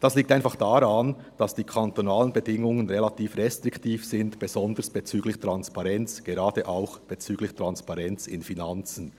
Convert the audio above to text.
Das liegt einfach daran, dass die kantonalen Bedingungen relativ restriktiv sind, besonders bezüglich Transparenz, gerade auch bezüglich Transparenz bei den Finanzen.